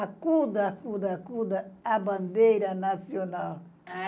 Acuda, acuda, acuda a bandeira nacional.